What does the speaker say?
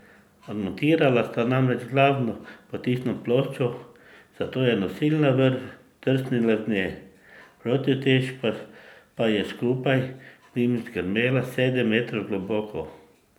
Odmontirala sta namreč glavno potisno ploščo, zato je nosilna vrv zdrsnila z nje, protiutež pa je skupaj z njima zgrmela sedem metrov globoko.